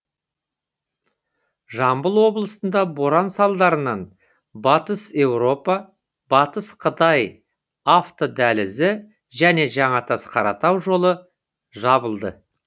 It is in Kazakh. жамбыл облысында боран салдарынан батыс еуропа батыс қытай автодәлізі және жаңатас қаратау жолы жабылды